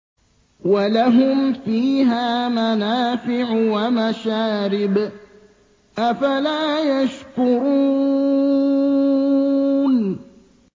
وَلَهُمْ فِيهَا مَنَافِعُ وَمَشَارِبُ ۖ أَفَلَا يَشْكُرُونَ